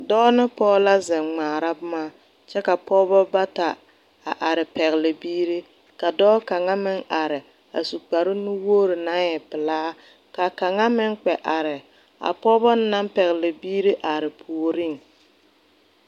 Doɔ ne poɔ la zeng ngmaara buma kye ka pɔgi bata a arẽ a pɛgli biiri ka doɔ kang meng arẽ a su kpare nuwori nang e pelaa ka kanga meng kpɛ arẽ a pɔgba nang pɛgli biiri arẽ poɔring.